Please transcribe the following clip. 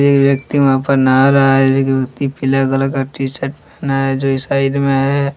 एक व्यक्ती वहा पर नहा रहा है एक व्यक्ती पीले कलर का टी शर्ट पहना है जो साइड मे है।